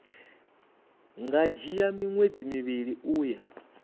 nga dzhia miṅwedzi mivhili uya